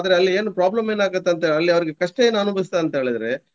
ಆದ್ರೆ ಅಲ್ಲಿ ಏನು problem ಏನಾಗುತ್ತೆ ಅಂತ ಅಲ್ಲಿ ಅವ್ರಿಗೆ ಕಷ್ಟ ಏನು ಅನುಭವಿಸ್ತದೆ ಅಂತ ಹೇಳಿದ್ರೆ.